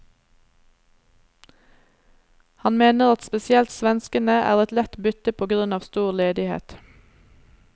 Han mener at spesielt svenskene er et lett bytte på grunn av stor ledighet.